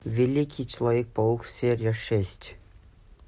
великий человек паук серия шесть